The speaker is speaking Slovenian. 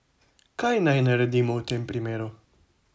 Kaj naj naredimo v tem primeru?